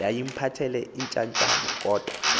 yayimphathele iintyatyambo kodwa